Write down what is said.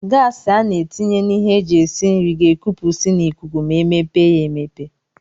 gas ana etinye na ihe eji esi nri ga ekupusi na ikuku ma emepe ya emepe.